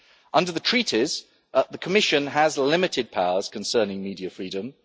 Under the Treaties, the Commission has limited powers concerning media freedom.